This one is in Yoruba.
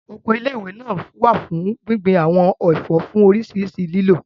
Oko ilé ìwé náà wà fún gbíngbin àwọn ẹ̀fọ́ fún oríṣiríṣi lílò